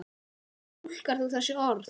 Hvernig túlkar þú þessi orð?